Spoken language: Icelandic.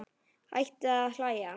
Hætti að hlæja.